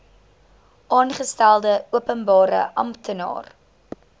aangestelde openbare amptenaar